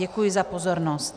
Děkuji za pozornost.